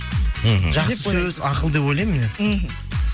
мхм жақсы сөз ақыл деп ойлаймын негізі мхм